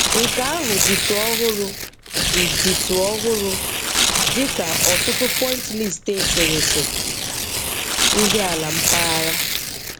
Nke ahụ ditụ ọhụrụ dị ditụ ọhụrụ dị ka ọtụtụ Pointillist eserese ndị ala na Mpaghara.